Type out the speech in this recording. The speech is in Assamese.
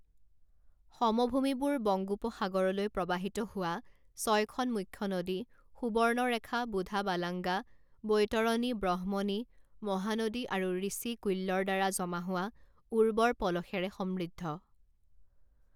সমভূমিবোৰ বংগোপসাগৰলৈ প্ৰবাহিত হোৱা ছয়খন মুখ্য নদী সুবৰ্ণৰেখা বুধাবালাঙ্গা বৈতৰণী ব্ৰহ্মণী মহানদী আৰু ঋষিকুল্যৰ দ্বাৰা জমা হোৱা উৰ্বৰ পলসেৰে সমৃদ্ধ।